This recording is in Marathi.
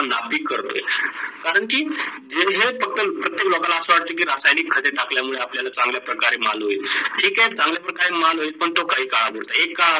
नापी करतो. करण की जे हे प्रत्येक लोकांना अस वाटत की त्यांनी खड टाकल्या मुडे आपल्याला चांगल्या प्रकारचे माल होईल. ठीके तो चांगल प्रकारचे माल होईल पण तो काही काज होईल एका